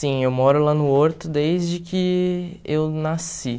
Sim, eu moro lá no Horto desde que eu nasci.